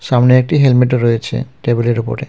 সামনে একটি হেলমেটও রয়েছে টেবিলের ওপরে